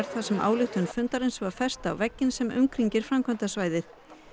þar sem ályktun fundarins var fest á vegginn sem umkringir framkvæmdasvæðið